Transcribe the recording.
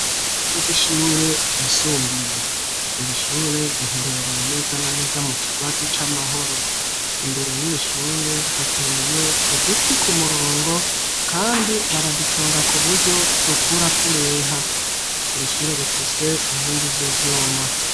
Ibaraza rw'ishure ryisumbuye irishure riherereye neza na neza mu kigwati c'amahoro imbere y'irishure hateye uduti ku murongo kandi baraduconga kuburyo dukura tureha iri shure rifise inkingi z'ivyuma.